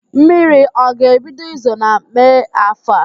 Mmiri ọ ga-ebido izo na Mee áfọ̀ a?